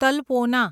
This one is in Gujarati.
તલ્પોના